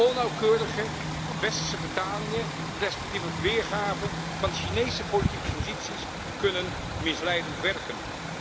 Onnauwkeurige westerse vertalingen respectievelijk weergaven van Chinese politieke posities kunnen misleidend werken.